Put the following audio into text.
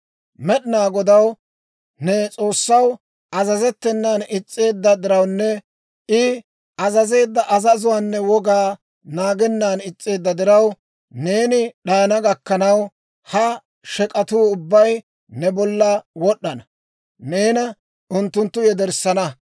«Med'inaa Godaw, ne S'oossaw, azazettenan is's'eedda dirawunne I azazeedda azazuwaanne wogaa naagennan is's'eedda diraw, neeni d'ayana gakkanaw, ha shek'atuu ubbay ne bolla wod'd'ana; neena unttunttu yederssana.